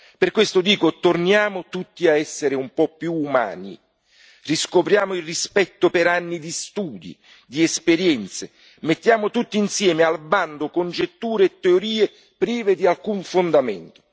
Per questo dico torniamo tutti a essere un po' più umani, riscopriamo il rispetto per anni di studi e di esperienze, mettiamo tutti insieme al bando congetture e teorie prive di alcun fondamento.